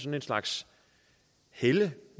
en slags helle